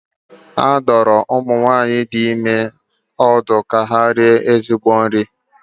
A dụrụ ụmụ nwaanyị dị ime ọdụ ka ha rie nri dị mma.